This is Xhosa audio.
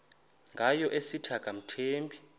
ngayo esithi akamthembi